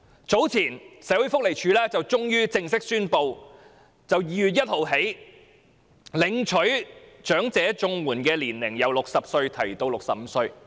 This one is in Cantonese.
早前，社會福利署終於正式宣布由2月1日起，領取長者綜援的年齡由60歲提高至65歲。